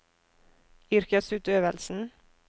yrkesutøvelsen